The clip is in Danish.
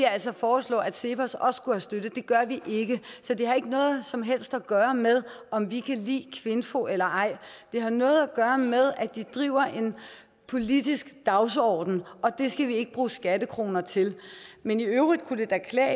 altså foreslå at cepos også skulle have støtte det gør vi ikke så det har ikke noget som helst at gøre med om vi kan lide kvinfo eller ej det har noget at gøre med at de har en politisk dagsordenen og det skal vi ikke bruge skattekroner til men i øvrigt kunne det da klæde